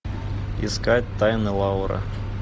искать тайны лауры